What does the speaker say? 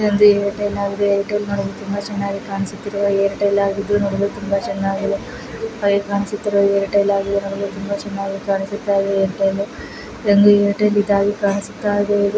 ಇದೊಂದು Airtel ಆಗಿದೆ. Airtel ನೋಡಲು ತುಂಬಾ ಚೆನ್ನಾಗಿ ಕಾಣಿಸುತ್ತಿದೆ. ಏರ್ಟೆಲ್ ಆಗಿದ್ದು ನೋಡಲು ತುಂಬಾ ಚೆನ್ನಾಗಿ ಕಾಣಿಸುತ್ತಿದೆ ಹಾಗೆ ಕಾಣಿಸುತ್ತಿರುವ ಏರ್ಟೆಲ್ ಆಗಿದೆ ನೋಡಲು ತುಂಬಾ ಚೆನ್ನಾಗಿ ಕಾಣಿಸುತ್ತಿದೆ. ಐರ್ಟಲ್ಲೂ ಇದೊಂದು ಏರ್ಟೆಲ್ ಇದಾಗಿ ಕಾಣಿಸುತ್ತಾ ಇದೆ.